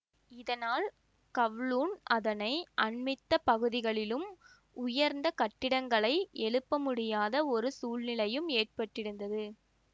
இதனால் கவ்லூண் அதனை அண்மித்த பகுதிகளிலும் உயர்ந்த கட்டிடங்களை எழுப்ப முடியாத ஒரு சூழ்நிலையும் ஏற்பட்டிருந்தது